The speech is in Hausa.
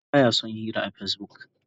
Musa ba ya son yin hira a Facebook.